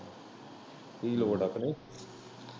ਕੀ ਲੋੜ ਐ ਕ ਨਈ।